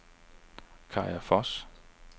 Kaja Voss